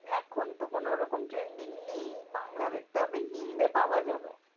এখন তো কোনোরকম trending নেই বাংলার। তবে হিন্দি পাওয়া যাবে।